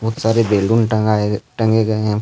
खूब सारे बैलून टंगाए गए टंगे गए है।